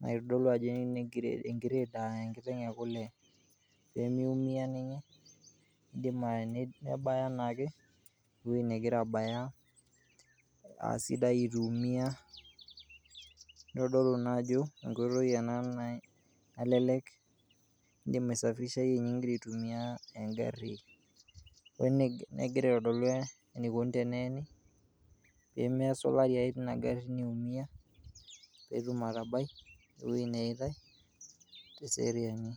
naitodolu ajo enkired a enkiteng' e kule pee miumia naa ninye nidim ayanyit nebaya naake ewoi negira abaya aa sidai itu iumia. Nitodolu naa ajo enkoitoi ena nalelek, indim aisafirishaye nye ing'ira aitumia eng'ari. we ne egira aitodolu enikoni teneeni pee mesulari ake tina gari niumia pee etum atabai te seriani.